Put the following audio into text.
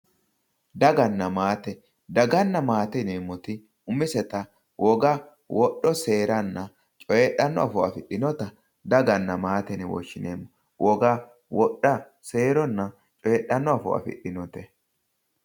Daganna maate, daganna maate yineemmoti umisetta woga wodho seeranna coyidhano afoo affidhinotta daganna maate yinne woshshineemmo, woga wodha seeranna coyidhano afoo affidhinote